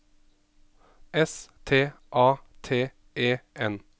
S T A T E N